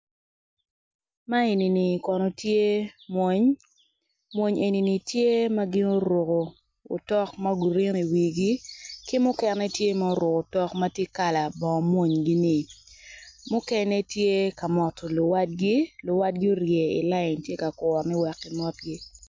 Man eni kono tye mwony mwol eni kono tye ma gin oruko otok ma grin i wigi ki mukene tye ma oruko kala bongo monygi ni.